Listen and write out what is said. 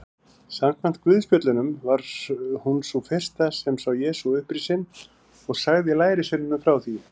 Samkvæmt guðspjöllunum var hún sú fyrsta sem sá Jesú upprisinn og sagði lærisveinunum frá því.